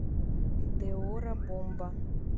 деорро бомба